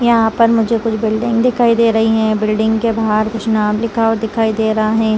यहाँ पर मुझे कुछ बिल्डिंग दिखाई दे रही है बिल्डिंग के बाहर कुछ नाम लिखा हुआ दिखाई दे रहा है।